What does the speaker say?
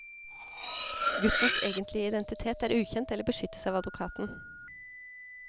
Guttens egentlige identitet er ukjent eller beskyttes av advokaten.